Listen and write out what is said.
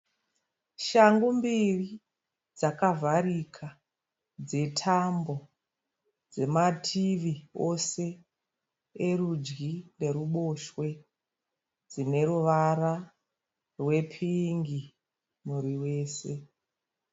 Shangu mbiri dzakavharika dzetambo dzemativi ose erudyi neruboshwe, dzine ruvara rwepingi muviri wese.